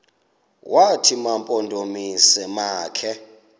wathi mampondomise makhe